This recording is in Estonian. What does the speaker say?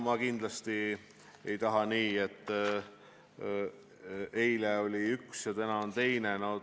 Ma kindlasti ei taha, et oleks nii, et eile oli üks ja täna on teine.